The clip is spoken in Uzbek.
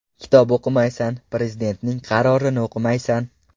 Kitob o‘qimaysan, Prezidentning qarorini o‘qimaysan.